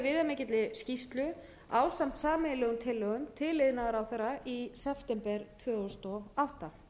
viðamikilli skýrslu ásamt sameiginlegum tillögum til iðnaðarráðherra í september tvö þúsund og átta